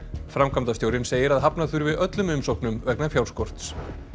framkvæmdastjórinn segir að hafna þurfi öllum umsóknum vegna fjárskorts